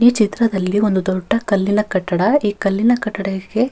ಈ ಚಿತ್ರದಲ್ಲಿ ಒಂದು ದೊಡ್ಡ ಕಲ್ಲಿನ ಕಟ್ಟಡ ಈ ಕಲ್ಲಿನ ಕಟ್ಟಡಕ್ಕೆ--